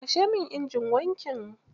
Kashe min injin wankin.